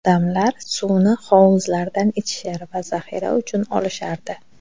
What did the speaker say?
Odamlar suvni hovuzlardan ichishar va zaxira uchun olishardi .